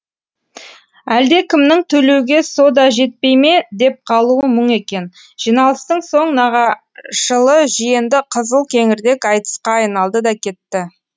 әлдекімнің төлеуге со да жетпей ме деп қалуы мұң екен жиналыстың соң нағашылы жиенді қызыл кеңірдек айтысқа айналды да кетті